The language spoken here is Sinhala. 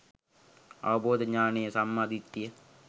අවබෝධ ඤාණය සම්මා දිට්ඨිය